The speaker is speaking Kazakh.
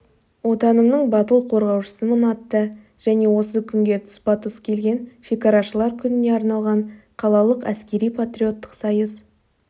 отанымның батыл қорғаушысымын атты және осы күнге тұспа-тұс келген шекарашылар күніне арналған қалалық әскери-патриоттық сайыс